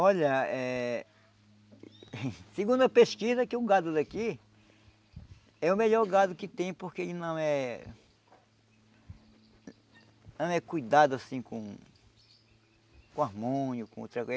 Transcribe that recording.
Olha, é... Segundo a pesquisa, que o gado daqui é o melhor gado que tem porque ele não é... não é cuidado, assim, com com hormônio, com outra coisa.